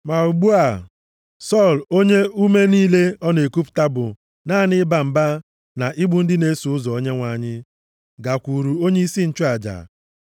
Ma ugbu a, Sọl, onye ume niile ọ na-ekupụta bụ naanị ịba mba na igbu ndị na-eso ụzọ Onyenwe anyị, gakwuuru onyeisi nchụaja,